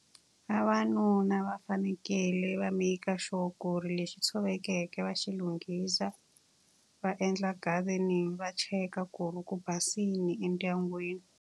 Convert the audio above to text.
Vavanuna va fanekele va make-a sure ku ri lexi tshovekeke va xi lunghisa, va endla gardening va cheka ku ri ku basile endyangwini.